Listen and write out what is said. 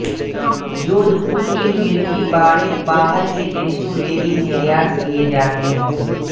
जोधपुर के मिर्ची बड़े बाहर के देशों में भी निर्यात किये जाते है